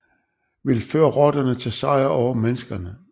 Vil føre rotterne til sejr over menneskene